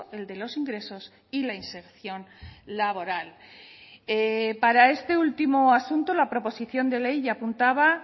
el de los ingresos y la inserción laboral para este último asunto la proposición de ley ya apuntaba